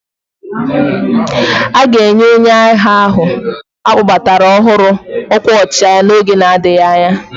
A ga-enye onye agha ahụ a kpọbatara ọhụrụ ọkwa ọchịagha n'oge na-adịghị anya.